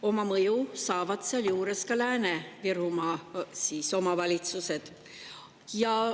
Oma mõju on sealjuures ka Lääne-Virumaa omavalitsustele.